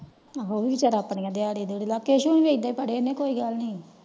ਆਹੋ ਫੇਰ ਆਪਣੀ ਦਿਹਾੜਿਆਂ ਕੋਇ ਗੱਲ ਨਹੀਂ।